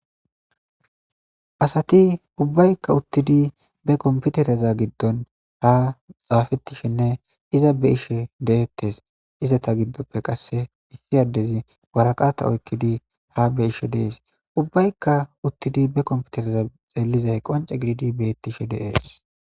asati ubbaykka uttidi be komputereza giddon ha xaafetishinne iza be ishe deettes iza ta giddoppe qasse issi yaddezi waraqata oykkidi ha be ishe dees ubbaykka uttidi be komputereza xeelizay qonce gididi bettishe deees